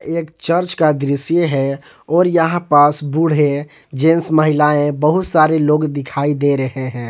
एक चर्च का दृश्य है और यहां पास बूढ़े जेन्स महिलाएं बहुत सारे लोग दिखाई दे रहे हैं।